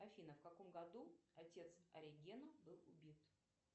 афина в каком году отец оригена был убит